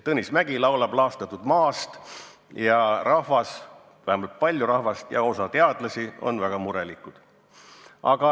Tõnis Mägi laulab laastatud maast ja rahvas – vähemalt paljud inimesed – ja osa teadlasi on väga murelikud.